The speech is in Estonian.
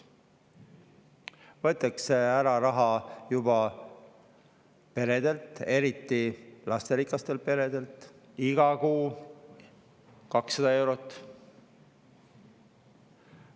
Juba võetakse raha ära peredelt, eriti lasterikastelt peredelt – iga kuu 200 eurot.